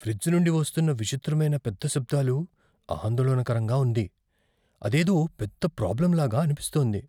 Fridge నుండి వస్తున్న విచిత్రమైన పెద్ద శబ్దాలు ఆందోళనకరంగా ఉంది. అదేదో పెద్ద ప్రాబ్లమ్ లాగా అనిపిస్తోంది.